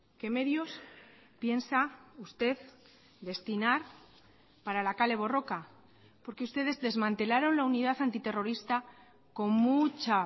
qué medios piensa usted destinar para la kale borroka porque ustedes desmantelaron la unidad antiterrorista con mucha